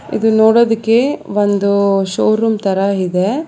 ಇದು ನೋಡುವುದಕ್ಕೆ ಒಂದು ಶೋರೂಮ್ ತರ ಇದೆ.